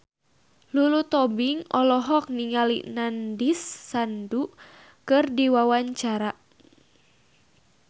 Lulu Tobing olohok ningali Nandish Sandhu keur diwawancara